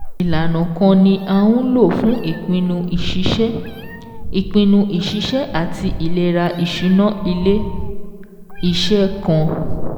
Ìlànà kan ni a ń lò fún ìpinnu ìṣiṣẹ́ ìpinnu ìṣiṣẹ́ àti ìlera ìṣúná ilé-iṣẹ́ kan.